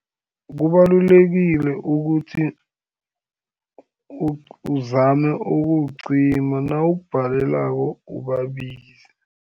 Kubalulekile ukuthi, uzame ukuwucima, nawukubhalelako ubabize.